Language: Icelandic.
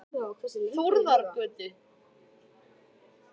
Þórðargötu